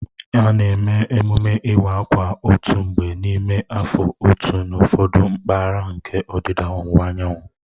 A na-eme emume iwa akwa otu mgbe n'ime afọ atọ n'ụfọdụ mpaghara nke ọdịda anyanwụ